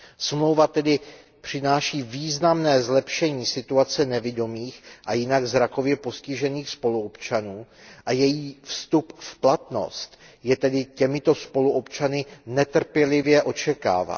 Smlouva tedy přináší významné zlepšení situace nevidomých a jinak zrakově postižených spoluobčanů a její vstup v platnost je tedy těmito spoluobčany netrpělivě očekáván.